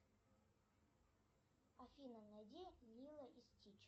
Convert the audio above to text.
афина найди лило и стич